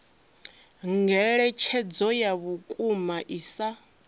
ngeletshedzo ya vhukuma i sa